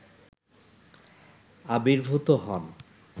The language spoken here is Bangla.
আবির্ভূত হন